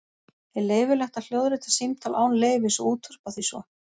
Er leyfilegt að hljóðrita símtal án leyfis og útvarpa því svo?